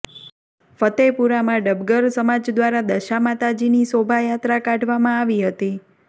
ફતેપુરામાં ડબગર સમાજ દ્વારા દશામાતાજીની શોભાયાત્રા કાઢવામાં આવી હતી